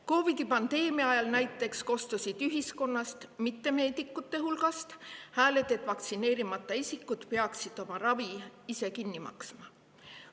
COVID-i pandeemia ajal näiteks kostsid ühiskonnast – mitte meedikute hulgast – hääled, et vaktsineerimata isikud peaksid oma ravi ise kinni maksma.